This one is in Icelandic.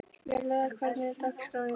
Vélaugur, hvernig er dagskráin í dag?